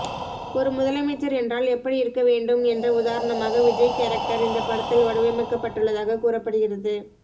ஒரு முதலமைச்சர் என்றால் எப்படி இருக்க வேண்டும் என்ற உதாரணமாக விஜய் கேரக்டர் இந்த படத்தில் வடிவைக்கப்பட்டுள்ளதாக கூறப்படுகிறது